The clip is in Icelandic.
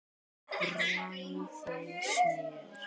Bræðið smjör.